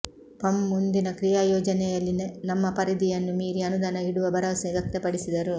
ಪಂ ಮುಂದಿನ ಕ್ರೀಯಾಯೋಜನೆಯಲ್ಲಿ ನಮ್ಮ ಪರಿದಿಯನ್ನು ಮೀರಿ ಅನುದಾನ ಇಡುವ ಭರವಸೆ ವ್ಯಕ್ತಪಡಿಸಿದರು